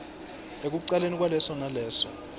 ekucaleni kwaleso naleso